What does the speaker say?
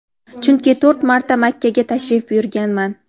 chunki to‘rt marta Makkaga tashrif buyurganman.